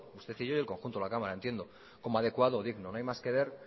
usted y yo y el conjunto de la cámara entiendo como adecuado o digno no hay más que ver